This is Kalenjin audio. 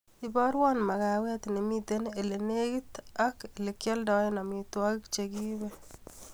Iborwo makawet nimiten lelekit ak lekioldoen amitwogik chekiib